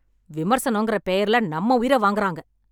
விமர்சனங்கற பெயர்ல நம்ம உயிர வாங்குறாங்க